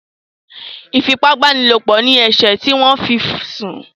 ifi ipá báni lọpọ ní eṣe tí wón fí sún